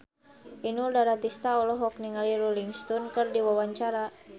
Inul Daratista olohok ningali Rolling Stone keur diwawancara